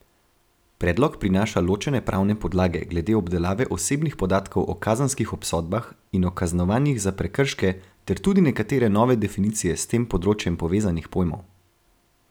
Predlog prinaša ločene pravne podlage glede obdelave osebnih podatkov o kazenskih obsodbah in o kaznovanjih za prekrške ter tudi nekatere nove definicije s tem področjem povezanih pojmov.